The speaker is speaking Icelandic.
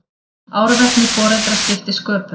Árvekni foreldra skipti sköpum